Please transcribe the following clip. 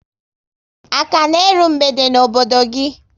A ka na eru mgbede n'obodo gị?